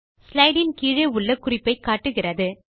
slide இன் கீழே உள்ள குறிப்பை காட்டுகிறது